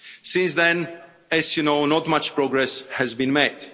Since then, as you know, not much progress has been